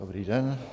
Dobrý den.